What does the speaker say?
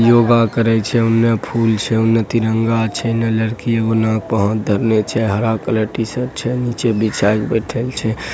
योग करय छै औने फूल छै उन्ने तिरंगा छै इने लड़की हरा कलर टी-शर्ट छै नीचे बिछाय के बैठएल छै।